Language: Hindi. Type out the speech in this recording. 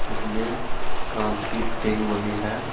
इसमें कांच की बनी है।